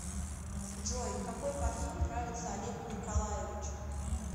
джой какой парфюм нравится олегу николаевичу